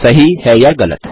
सही है या गलत